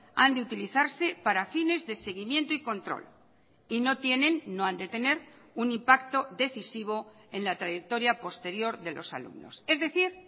han de utilizarse para fines de seguimiento y control y no tienen no han de tener un impacto decisivo en la trayectoria posterior de los alumnos es decir